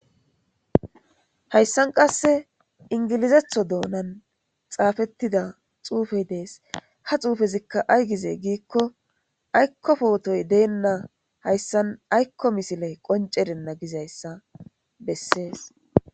Hayssan qasse ingilizetho doonan xaafettida xuufey dees ha xuufezikka aygize giikko aykkofootoy deenna hayssan aykko misile qoncerenna gizayssa bessees.